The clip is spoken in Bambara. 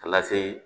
Ka lase